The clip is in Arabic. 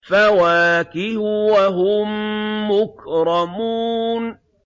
فَوَاكِهُ ۖ وَهُم مُّكْرَمُونَ